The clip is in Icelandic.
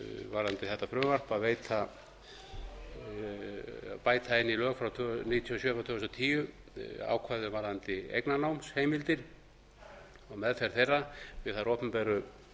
varðandi þetta frumvarp að bæta inn í lög frá níutíu og sjö tvö þúsund og tíu ákvæðum varðandi eignarnámsheimildir og meðferð þeirra við þær opinberu